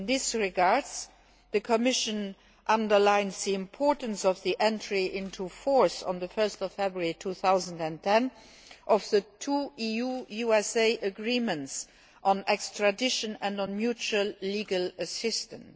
In this regard, the Commission underlines the importance of the entry into force on 1 February 2010 of the two EU USA agreements on extradition and mutual legal assistance.